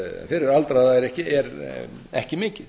fyrir aldraða er ekki mikið